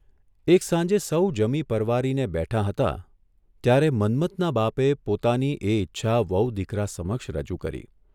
એક સાંજે સહુ જમી પરવાનીને બેઠાં હતાં ત્યારે મન્મથના બાપે પોતાની એ ઇચ્છા વહુ દીકરા સમક્ષ રજૂ કરી.